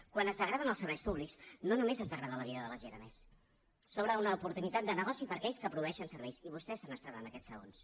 quan es degraden els serveis públics no només es degrada la vida de la gent a més s’obre una oportunitat de negoci per a aquells que produeixen serveis i vostès han estat en aquests segons